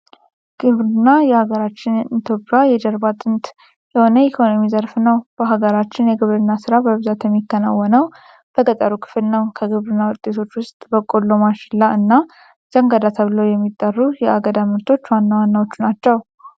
ግብር የሀገራችን ኢትዮጵያ የጀርባ አጥንት የሆነ የኢኮኖሚ ዘርፍ ነው። በሀገራችን የግብርና ስራ በብዛት የሚከወነው በገጠሩ ክፍል ነው። ከግብርና ውጤቶች ውስጥ በቆሎ ፣ማሽላ እና ዘንጋዳ ተብለው የሚጠሩ የአገዳ ምርቶች ዋና ዋናዎቹ ናቸው።